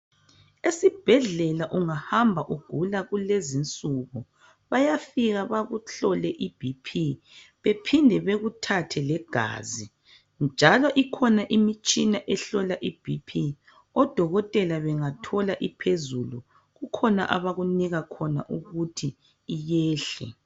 esibhedlela ungahamba ugula kulezinsuku bayafika bakuhlole i BP bephinde bekuthathe legazi njalo ikhona imitshina ehlola iBp odokotela bengayithola iphezulu kukhona abakunika khona ukuthi iyehle